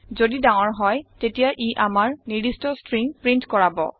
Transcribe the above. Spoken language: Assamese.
যদি ডাঙৰ হয় তেতিয়া ই আমাৰ নিৰ্দিস্ট ষ্ট্ৰিং প্ৰীন্ট কৰাব